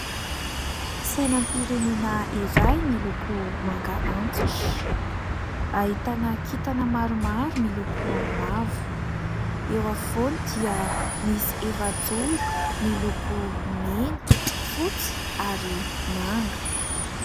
Sainam-pirenena iray miloko manga antitra. Ahitana kintana maromaro miloko mavo. Eo afovoany dia misy efajoro miloko mena, fotsy ary manga.